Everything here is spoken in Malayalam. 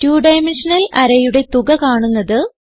2ഡൈമെൻഷണൽ arrayയുടെ തുക കാണുന്നത്